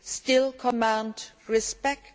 still command respect.